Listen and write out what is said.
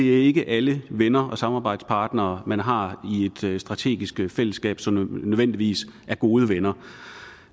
ikke er alle venner og samarbejdspartnere man har i et strategisk fællesskab som nødvendigvis er gode venner